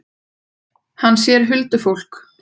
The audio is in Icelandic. Hann sér huldufólk.